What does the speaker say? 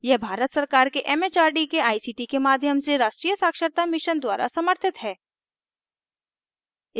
यह भारत सरकार के it it आर डी के आई सी टी के माध्यम से राष्ट्रीय साक्षरता mission द्वारा समर्थित है